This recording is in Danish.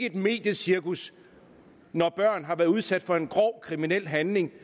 et mediecirkus når børn har været udsat for en grov kriminel handling